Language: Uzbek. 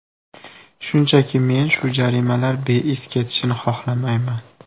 Shunchaki, men shu jarimalar beiz ketishini xohlamayman.